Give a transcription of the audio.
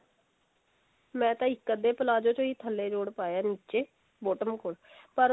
ਮੈਂ ਤਾ ਇੱਕ ਅਧੇ palazzo ਚ ਹੀ ਥੱਲੇ ਜੋੜ ਪਾਇਆ ਨਿੱਚੇ bottom ਕੋਲ ਪਰ